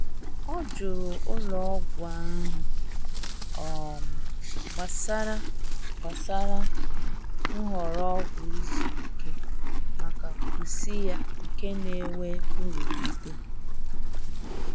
O jụrụ ụlọ ọgwụ ahụ um gbasara gbasara nhọrọ ọgwụ izuike maka pusi ya nke na-enwe nrụgide.